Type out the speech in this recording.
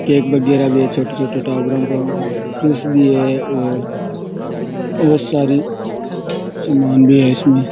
cake वगैरा भी है छोटे छोटे टाबरों का जूस भी है और बहुत सारे सामान भी है इसमें --